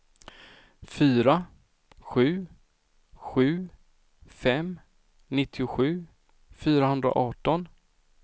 fyra sju sju fem nittiosju fyrahundraarton